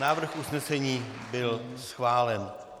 Návrh usnesení byl schválen.